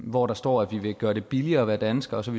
hvor der står at vi vil gøre det billigere at være dansker og så